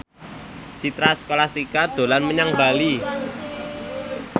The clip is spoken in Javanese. Citra Scholastika dolan menyang Bali